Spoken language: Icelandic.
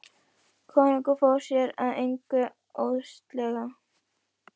Konungur fór sér að engu óðslega.